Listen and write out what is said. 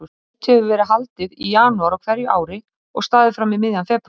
Mótið hefur verið haldið í janúar á hverju ári og staðið fram í miðjan febrúar.